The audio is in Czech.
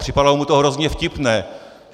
Připadalo mu to hrozně vtipné.